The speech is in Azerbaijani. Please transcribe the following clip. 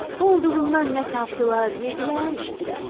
Olduğundan nə tapdılar, yedirlər, içdilər.